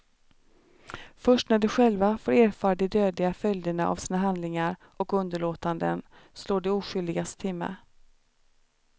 Först när de själva får erfara de dödliga följderna av sina handlingar och underlåtanden slår de oskyldigas timme.